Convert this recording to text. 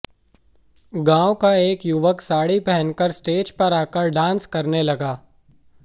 गांव का एक युवक साड़ी पहनकर स्टेज पर आकर डांस करने लगा